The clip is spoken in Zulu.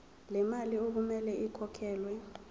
lemali okumele ikhokhelwe